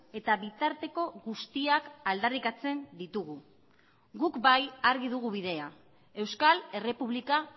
eta bitarteko guztiak aldarrikatzen ditugu guk bai argi dugu bidea euskal errepublika